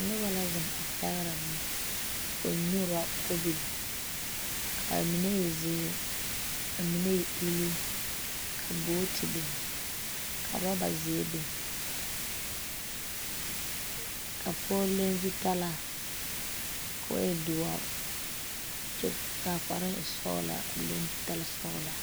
Noba la zeŋ a pɛgerɛ boma, koɔ nyuura kobil kaa mine e zeɛre, kaa mine e uluu, ka booti. biŋ ka roober zeɛ. biŋ ka pɔge leŋ zutarre kɔɔ e doɔre kyɛ kaa kparoo e sɔglaa kɔɔ leŋ zutarre sɔglaa